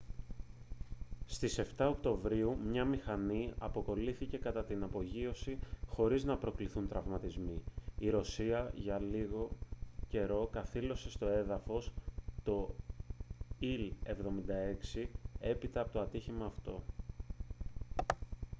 στις 7 οκτωβρίου μια μηχανή αποκολλήθηκε κατά την απογείωση χωρίς να προκληθούν τραυματισμοί η ρωσία για λίγο καιρό καθήλωσε στο έδαφος το il-76 έπειτα από το ατύχημα αυτό